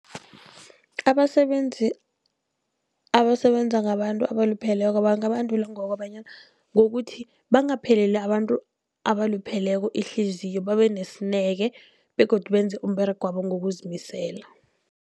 Abasebenzi abasebenza ngabantu abalupheleko bangabandulwa ngokobanyana ngokuthi, bangapheleli abantu abalupheleko ihliziyo babe nesineke begodu benze umberegwabo ngokuzimisela.